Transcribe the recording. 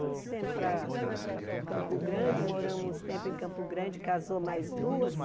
Trouxemos para para Campo Grande, moramos uns tempos em Campo Grande, casou mais duas.